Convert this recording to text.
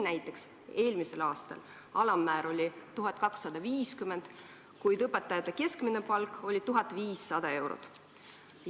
Näiteks, eelmisel aastal oli alammäär 1250 eurot, kuid õpetaja keskmine palk oli 1500 eurot.